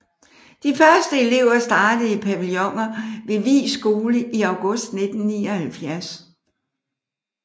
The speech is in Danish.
De første elever startede i pavilloner ved Vig Skole i august 1979